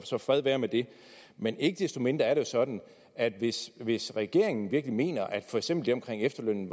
så fred være med det men ikke desto mindre er det jo sådan at hvis hvis regeringen virkelig mener at for eksempel det omkring efterlønnen